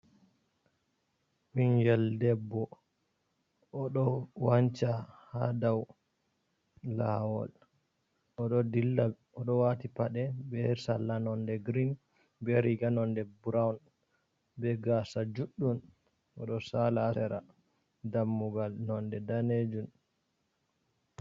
Bingel ɗebbo, oɗo wanca ha ɗau lawol. Oɗo ɗilla, oɗo wati paɗe be salla nonɗe gireen, be riga nonɗe buroun, be gasa juɗɗum oɗo sala ha lera. Ɗammugal nonɗe nɗanejun.